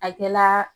A kɛla